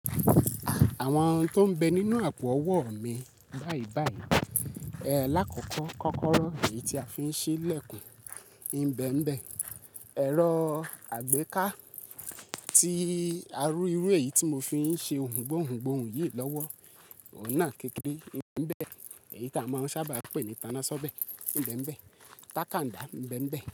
Àwọn ohun tó ń bẹ nínú àpò ọwọ́ mi báyìí báyìí. Ẹ làkọ̀kọ̀ kọ́kọ́rọ́ èyí tí a fi ń ṣi ìlẹ̀kùn, Ìbẹ̀m̀bẹ̀, ẹ̀rọ àgbéká tí a rí irú èyí tí mo fi ń ṣe ohùn gbóhun gbóhun yìí lọ́wọ́, ọ̀hun na kékeré, Ìbẹ̀m̀bẹ̀ èyí tí a máa ń sábà pè ní ìtanná ṣọ́bẹ̀, Ìbẹ̀m̀bẹ̀, tàkándá, Ìbẹ̀m̀bẹ̀